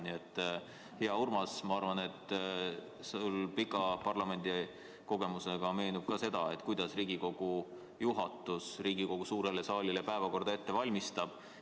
Nii et, hea Urmas, ma arvan, et sulle pika parlamendikogemuse juures meenub ka, kuidas Riigikogu juhatus Riigikogu suurele saalile päevakorda ette valmistab.